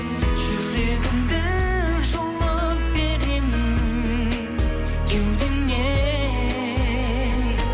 жүрегімді жұлып беремін кеудемнен